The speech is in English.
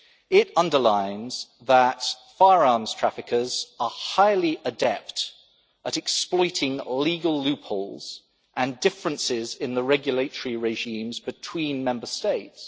area. It underlines that firearms traffickers are highly adept at exploiting legal loopholes and differences in the regulatory regimes between Member States.